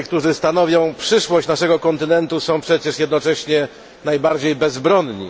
Ludzie, którzy stanowią przyszłość naszego kontynentu, są przecież jednocześnie najbardziej bezbronni.